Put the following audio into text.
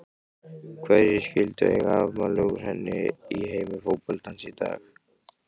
Hverjir skyldu eiga afmæli úr heimi fótboltans í dag?